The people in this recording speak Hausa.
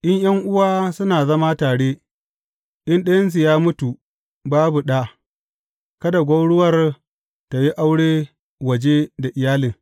In ’yan’uwa suna zama tare, in ɗayansu ya mutu babu ɗa, kada gwauruwar tă yi aure waje da iyalin.